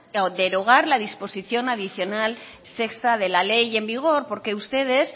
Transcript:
o derogar la disposición adicional sexta de la ley en vigor porque ustedes